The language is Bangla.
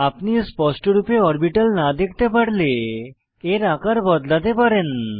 আপনি স্পষ্টরূপে অরবিটাল না দেখতে পারলে এর আকার বদলাতে পারেন